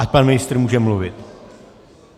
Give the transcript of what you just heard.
Ať pan ministr může mluvit.